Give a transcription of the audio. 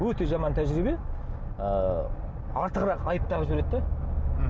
өте жаман тәжірибе ы артығырақ айып тағып жібереді де мхм